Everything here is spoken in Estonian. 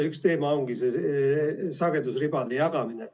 Üks teema ongi see sagedusribade jagamine.